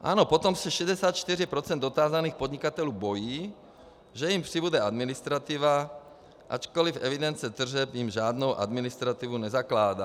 Ano, potom se 64 % dotázaných podnikatelů bojí, že jim přibude administrativa, ačkoliv evidence tržeb jim žádnou administrativu nezakládá.